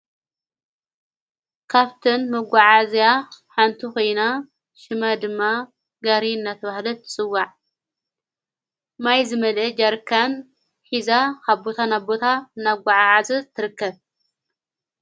ካፍትን መጐዓ እዘያ ሓንቱኾይና ሽመ ድማ ጋሪ ናተውህለት ትጽዋዕ ማይ ዝመልአ ጃርካን ኂዛ ኻቦታ ናቦታ ናጐዓ ዓዘዝ ትርከብ።